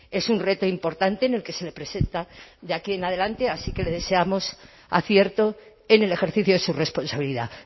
es un reto importante en el que se le presenta de aquí en adelante así que le deseamos acierto en el ejercicio de su responsabilidad